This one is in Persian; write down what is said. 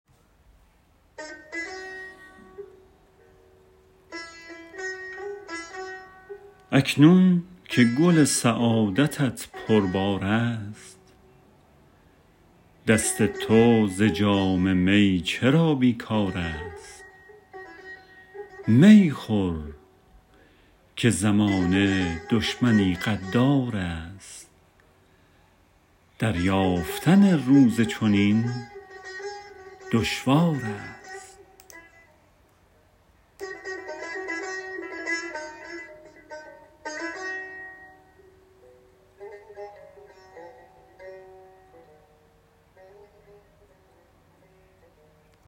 اکنون که گل سعادتت پربار است دست تو ز جام می چرا بیکار است می خور که زمانه دشمنی غدار است دریافتن روز چنین دشوار است